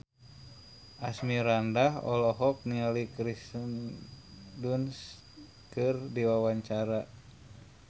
Asmirandah olohok ningali Kirsten Dunst keur diwawancara